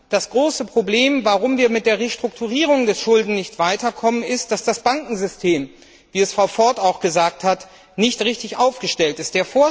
Das große Problem, warum wir mit der Restrukturierung der Schulden nicht weiter kommen, ist, dass das Bankensystem, wie Frau Ford auch gesagt hat, nicht richtig aufgestellt ist.